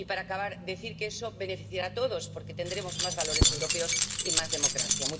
Y, para acabar, decir que eso beneficiará a todos, porque tendremos más valores europeos y más democracia.